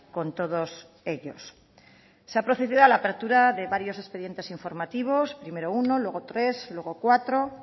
con todos ellos se ha procedido a la apertura de varios expedientes informativos primero uno luego tres luego cuatro